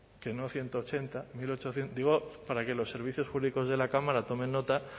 que no ciento ochenta digo para que los servicios jurídicos de la cámara tomen nota